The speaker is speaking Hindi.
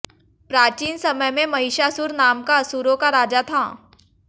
प्राचीन समय में महिषासुर नाम का असुरों का राजा था